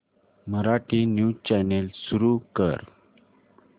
Marathi news channel सुरू कर